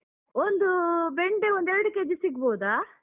ಒಂದು, ಬೆಂಡೆ ಒಂದು ಎರಡು kg ಸಿಗ್ಬೋದಾ?